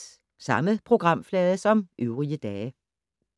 Samme programflade som øvrige dage